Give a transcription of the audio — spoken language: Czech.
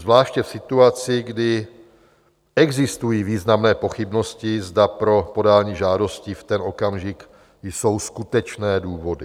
Zvláště v situaci, kdy existují významné pochybnosti, zda pro podání žádosti v ten okamžik jsou skutečné důvody?